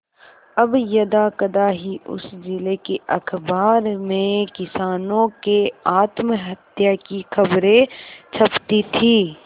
अब यदाकदा ही उस जिले के अखबार में किसानों के आत्महत्या की खबरें छपती थी